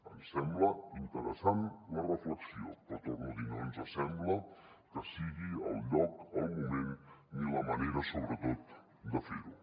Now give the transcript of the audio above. ens sembla interessant la reflexió però ho torno a dir no ens sembla que sigui el lloc el moment ni la manera sobretot de fer ho